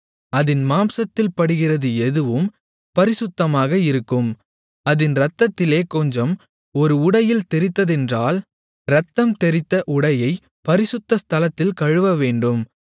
அதின் மாம்சத்தில் படுகிறது எதுவும் பரிசுத்தமாக இருக்கும் அதின் இரத்தத்திலே கொஞ்சம் ஒரு உடையில் தெறித்ததென்றால் இரத்தம்தெறித்த உடையைப் பரிசுத்த ஸ்தலத்தில் கழுவவேண்டும்